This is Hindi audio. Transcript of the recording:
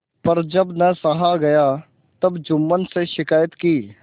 पर जब न सहा गया तब जुम्मन से शिकायत की